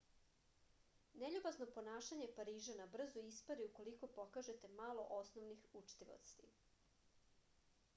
neljubazno ponašanje parižana brzo ispari ukoliko pokažete malo osnovnih učtivosti